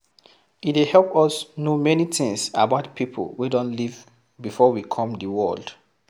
E dey help us know many things about pipo wey don live before we come di world